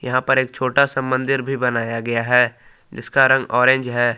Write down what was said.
यहां पर एक छोटा सा मंदिर भी बनाया गया है जिस का रंग ऑरेंज है।